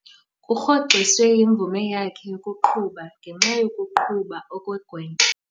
Kurhoxiswe imvume yakhe yokuqhuba ngenxa yokuqhuba okugwenxa.